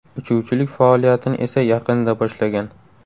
Uchuvchilik faoliyatini esa yaqinda boshlagan.